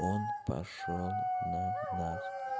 он пошёл на нас